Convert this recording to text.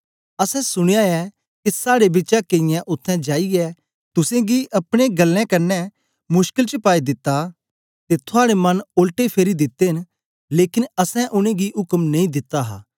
असैं सुनया ऐ के साड़े बिचा केईयें उत्थें जाईयै तुसेंगी अपनी गल्लें कन्ने मुशकल च दिता ते थुआड़े मन ओलटे फेरी दिते न लेकन असैं उनेंगी उक्म नेई दिता हा